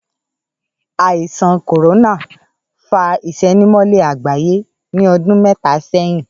Àìsàn kòrónà fa ìsénimólé àgbáyé ní ọdún méta sẹ́yìn